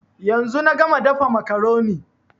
Yanzu na gama dafa makaroni